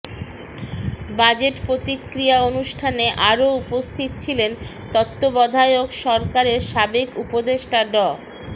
budget প্রতিক্রিয়া অনুষ্ঠানে আরও উপস্থিত ছিলেন তত্ত্বাবধায়ক সরকারের সাবেক উপদেষ্টা ড